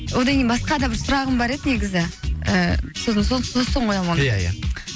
одан кейін басқа да бір сұрағым бар еді негізі ііі соны сосын қоямын оны ия ия